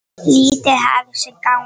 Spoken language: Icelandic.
Lífið hafði sinn gang.